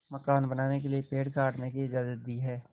मकान बनाने के लिए पेड़ काटने की इजाज़त दी है